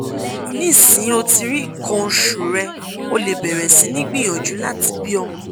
nisin o ti ri ikan osu re o le beere si ni gbiyanju lati bi omo